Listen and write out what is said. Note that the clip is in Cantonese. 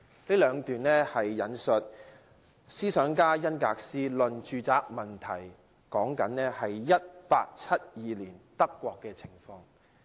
上述兩段引述自思想家弗里德里希·恩格斯的《論住宅問題》，書中講述1872年德國的情況。